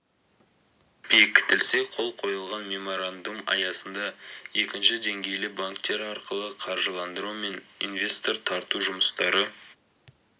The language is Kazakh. бекітілсе қол қойылған меморандум аясында екінші деңгейлі банктер арқылы қаржыландыру мен инвес тор тарту жұмыстары